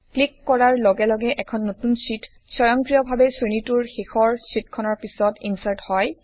click কৰাৰ লগে লগে এখন নতুন শ্বিট স্বয়ংক্ৰিয় ভাৱে শ্ৰেণীটোৰ শেষৰ শ্বিটখনৰ পিছত ইনচাৰ্ট হয়